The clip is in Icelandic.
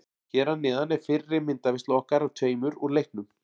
Hér að neðan er fyrri myndaveisla okkar af tveimur úr leiknum.